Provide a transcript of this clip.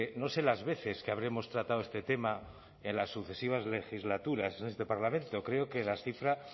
no sé las veces que habremos tratado este tema en las sucesivas legislaturas en este parlamento creo que la cifra